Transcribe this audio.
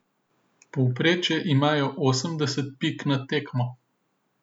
Povprečje imajo osemdeset pik na tekmo.